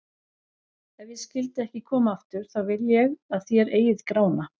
Ef ég skyldi ekki koma aftur, þá vil ég að þér eigið Grána.